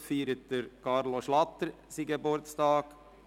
Heute feiert Carlo Schlatter seinen Geburtstag.